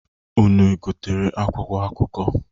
Unu gotere akwụkwọ akụkọ?